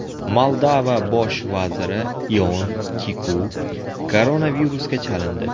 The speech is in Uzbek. Moldova bosh vaziri Ion Kiku koronavirusga chalindi.